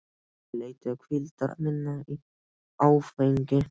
Ég leitaði hvíldar minnar í áfengi.